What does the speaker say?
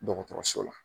Dɔgɔtɔrɔso la